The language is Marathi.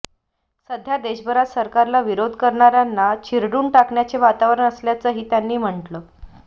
सध्या देशभरात सरकारला विरोध करणाऱ्यांना चिरडून टाकण्याचे वातावरण असल्याचंही त्यांनी म्हटलं